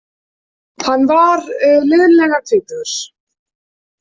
Hann var liðlega tvítugur.